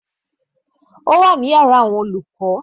Ó wà ní ẹ̀gbẹ́ yàrá àwọn olùkọ́.